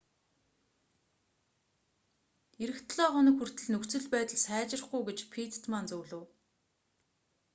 ирэх долоо хоног хүртэл нөхцөл байдал сайжрахгүй гэж питтман зөвлөв